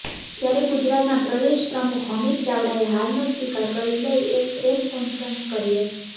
ત્યારે ગુજરાતના પ્રદેશ પ્રમુખ અમિત ચાવડાએ હારનો સ્વીકાર કરી લઈ એક પ્રેસ કોન્ફરન્સ કરી હતી